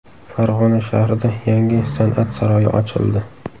Farg‘ona shahrida yangi San’at saroyi ochildi.